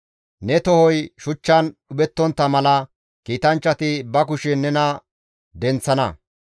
Ne tohoy shuchchan dhuphettontta mala kiitanchchati ba kushen nena denththana.